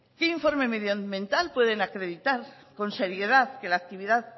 qué informe medioambiental pueden acreditar con seriedad que la actividad